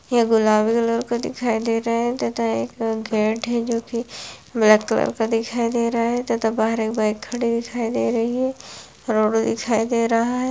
यह गुलाबी कलर का दिखाई दे रहा है तथा एक गेट है जोकि ब्लैक कलर का दिखाई दे रहा है तथा बाहर एक बाईक खड़ी दिखाई दे रही है रोड दिखाई दे रहा है।